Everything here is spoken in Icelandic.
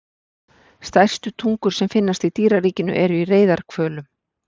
Stærstu tungur sem finnast í dýraríkinu eru í reyðarhvölum.